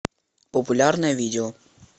популярное видео